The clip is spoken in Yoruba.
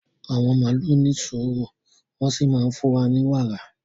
Àwọn màlúù ní sùúrù wọ́n sì máa ń fún wa ní wàrà